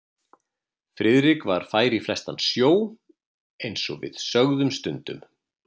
Friðrik var fær í flestan sjó eins og við sögðum stundum.